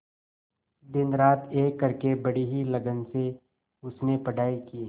दिनरात एक करके बड़ी ही लगन से उसने पढ़ाई की